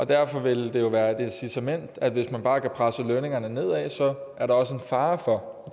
derfor vil det jo være et incitament hvis man bare kan presse lønningerne nedad er der også en fare for